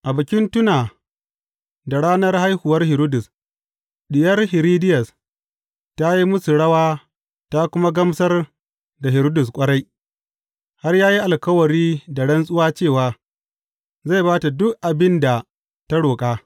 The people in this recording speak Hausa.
A bikin tuna da ranar haihuwar Hiridus, diyar Hiridiyas ta yi musu rawa ta kuma gamsar da Hiridus ƙwarai, har ya yi alkawari da rantsuwa cewa zai ba ta duk abin da ta roƙa.